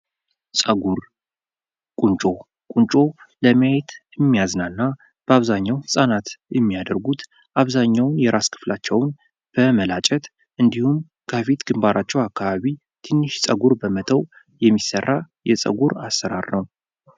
ፀጉር ቁንጮ ቁንጮ ለማየት የሚያዝናና በአብዛኛው ህጻናት የሚያደርጉት አብዛኛውን የራስ ክፍላቸውም በመላጨት እንዲሁም ከፊት ግንባራቸው አካባቢ ትንሽ ፀጉር በመተው የሚሰራ የፀጉር አሠራር ነው።